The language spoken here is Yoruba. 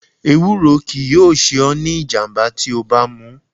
Ewúro kii yoo se o ni ijamba ti o ba mu